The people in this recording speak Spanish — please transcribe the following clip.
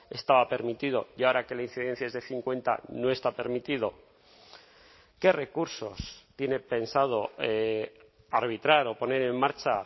estaba permitido y ahora que la incidencia es de cincuenta no está permitido qué recursos tiene pensado arbitrar o poner en marcha